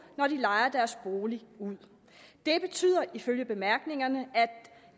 når de lejer deres bolig ud det betyder ifølge bemærkningerne at